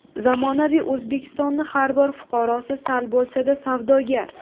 Zamonaviy O‘zbekistonning har bir fuqarosi sal bo‘lsa-da, savdogar”.